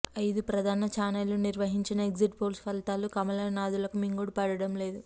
ఐదు ప్రధాన ఛానెళ్లు నిర్వహించిన ఎగ్జిట్ పోల్స్ ఫలితాలు కమలనాధులకు మింగుడు పడడం లేదు